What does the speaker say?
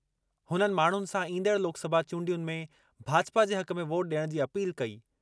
हुननि माण्हुनि सां ईंदड़ लोकसभा चूंडियुनि में भाजपा जे हक़ में वोट ॾियण जी अपील कई।